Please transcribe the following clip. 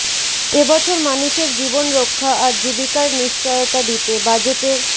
এ বছর মানুষের জীবন রক্ষা আর জীবিকার নিশ্চয়তা দিতে বাজেটের